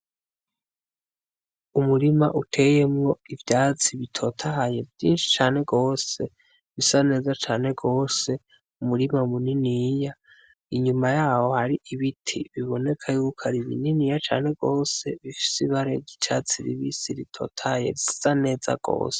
Umurima uteyemwo ivyatsi bitotahaye vyinshi cane gose bisa neza cane gose mumurima muniniya, inyuma yaho hari ibiti biboneka yuko ari bininiya cane gose, bifise ibara ry'icatsi kibisi ritotahaye risa neza gose.